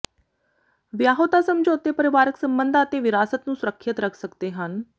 ਵਿਆਹੁਤਾ ਸਮਝੌਤੇ ਪਰਿਵਾਰਕ ਸਬੰਧਾਂ ਅਤੇ ਵਿਰਾਸਤ ਨੂੰ ਸੁਰੱਖਿਅਤ ਰੱਖ ਸਕਦੇ ਹਨ